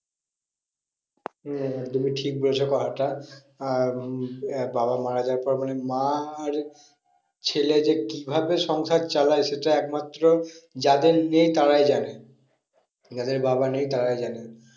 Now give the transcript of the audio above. হম তুমি ঠিক বলেছো কথাটা আহ উম বাবা মারা যাওয়ার পর মানে মা আর ছেলে যে কি ভাবে সংসার চালায় সেটা এক মাত্র তাদের নেই তারাই জানে। যাদের বাবা নেই তারাই জানে।